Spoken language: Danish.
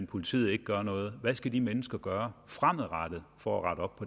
politiet ikke gør noget hvad skal de mennesker gøre fremadrettet for at rette op